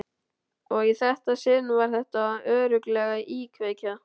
Og í þetta sinn var þetta örugglega íkveikja.